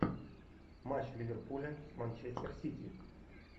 матч ливерпуля с манчестер сити